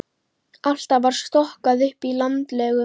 Alltaf var stokkað upp í landlegum.